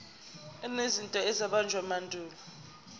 enezinto ezabunjwa emandulo